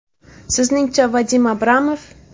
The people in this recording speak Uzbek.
Sizningcha Vadim Abramov…?